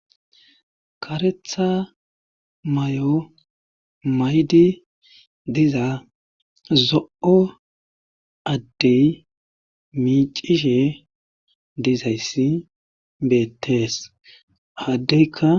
karetha may7o maydi diza zo7o addey miicishe dizayssi beettees haddeykka